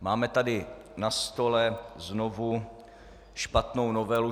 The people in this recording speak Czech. Máme tady na stole znovu špatnou novelu.